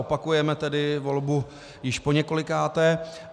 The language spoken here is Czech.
Opakujeme tedy volbu již poněkolikáté.